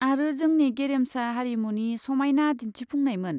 आरो जोंनि गेरेमसा हारिमुनि समायना दिन्थिफुंनायमोन।